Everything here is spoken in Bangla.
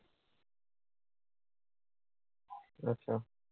আচ্ছা।